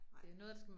Nej